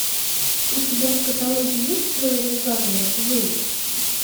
у тебя в каталоге есть теория заговора зулу